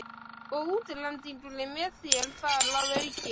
Og útlendingur með þér þar að auki.